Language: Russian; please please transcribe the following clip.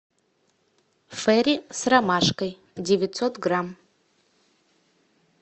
ферри с ромашкой девятьсот грамм